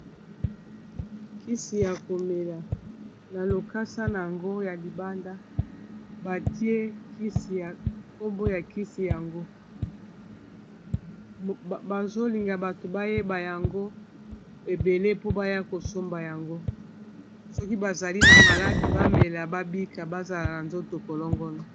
Kisi ya komela na lokasa na yango ya libanda batie kisi nkombo ya kisi yango bazolinga bato bayeba yango ebele po baya kosomba yango soki bazali na maladi bamela babika bazala na nzoto kolongona.